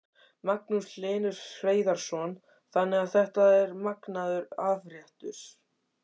Magnús Hlynur Hreiðarsson: Þannig að þetta er magnaður afréttur?